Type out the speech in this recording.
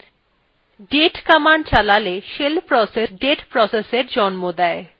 date command চালালে shell process একটি date processএর জন্ম দেয়